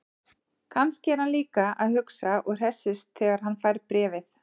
Kannski er hann líka að hugsa og hressist þegar hann fær bréfið.